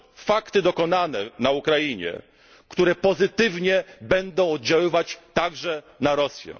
i stworzy fakty dokonane na Ukrainie, które pozytywnie będą oddziaływać także na Rosję.